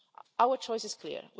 Our choice is clear.